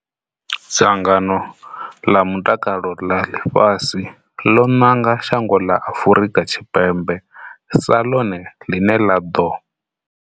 Dzangano ḽa Mutakalo ḽa Ḽifhasi ḽo nanga shango ḽa Afrika Tshipembe sa ḽone ḽine ḽa ḓo.